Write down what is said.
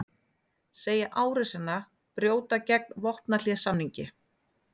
Segja árásina brjóta gegn vopnahléssamningi